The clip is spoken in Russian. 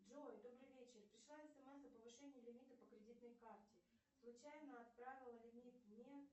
джой добрый вечер пришла смс о повышении лимита по кредитной карте случайно отправила лимит не